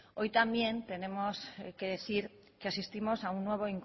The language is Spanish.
hoy también tenemos que decir que asistimos a un nuevo